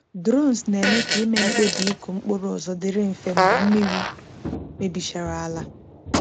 Drones na-eme ka ịme mkpebi ịkụ mkpụrụ ọzọ dịrị mfe mgbe mmiri mebichara ala.